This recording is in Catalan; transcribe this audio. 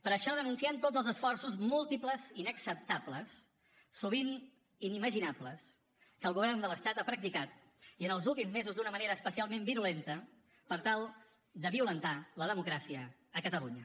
per això denunciem tots els esforços múltiples i inacceptables sovint inimaginables que el govern de l’estat ha practicat i en els últims mesos d’una manera especialment virulenta per tal de violentar la democràcia a catalunya